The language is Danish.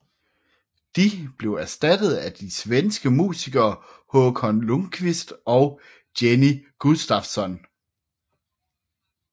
De blev erstattet af de svenske musikere Håkan Lundqvist og Jenny Gustafsson